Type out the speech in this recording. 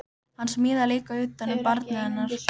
Hann smíðaði líka utan um barnið hennar